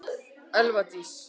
Elva Dís.